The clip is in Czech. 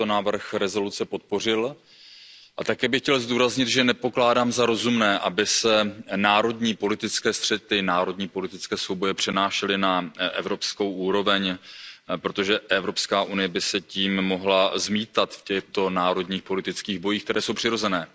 Pane předsedající, úvodem chci říci, že jsem tento návrh rezoluce podpořil a také bych chtěl zdůraznit, že nepokládám za rozumné, aby se národní politické střety, národní politické souboje přenášely na evropskou úroveň, protože Evropská unie by se tím mohla zmítat v těchto národních politických bojích, které jsou přirozené.